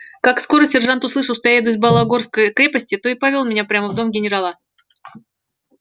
как скоро сержант услышал что я еду из бологорской крепости то и повёл меня прямо в дом генерала